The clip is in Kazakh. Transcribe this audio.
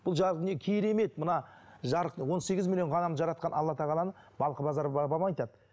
бұл жарық дүние керемет мына жарық он сегіз миллион ғаламды жаратқан алла тағаланың балқыбазар бабам айтады